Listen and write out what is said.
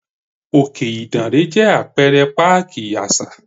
Òkè Ìdànrè jẹ́ Apẹ̀rẹ̀ páàkì àṣà.